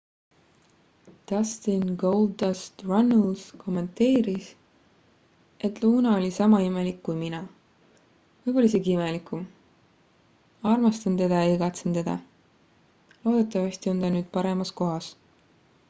"dustin "goldust" runnels kommenteeris et "luna oli sama imelik kui mina võib-olla isegi imelikum armastan teda ja igatsen teda loodetavasti on ta nüüd paremas kohas.""